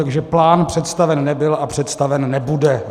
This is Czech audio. Takže plán představen nebyl a představen nebude.